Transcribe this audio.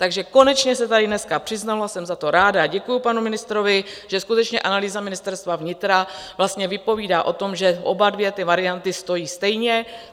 Takže konečně se tady dneska přiznalo, jsem za to ráda, a děkuji panu ministrovi, že skutečně analýza Ministerstva vnitra vlastně vypovídá o tom, že obě dvě ty varianty stojí stejně.